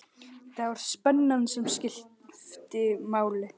Það var spennan sem skipti máli.